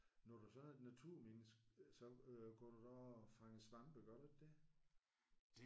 Når du så er et naturmenneske så øh går du da også og fanger svampe gør du ikke det?